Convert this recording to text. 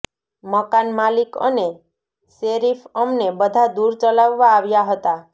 મકાન માલિક અને શેરિફ અમને બધા દૂર ચલાવવા આવ્યા હતા